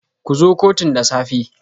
Ku zo kotun da safe.